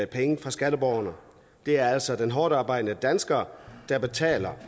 penge fra skatteborgerne det er altså den hårdtarbejdende dansker der betaler